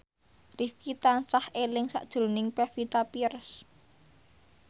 Rifqi tansah eling sakjroning Pevita Pearce